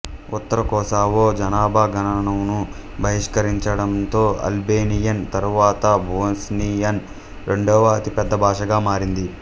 ఉత్తర Kosovo జనాభా గణనను బహిష్కరించడంతో అల్బేనియన్ తరువాత బోస్నియన్ రెండవ అతిపెద్ద భాషగా మారింది